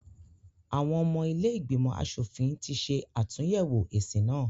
Àwọn ọmọ ilé ìgbìmọ̀ asòfin ti ṣe àtúnyẹ̀wò èsì náà.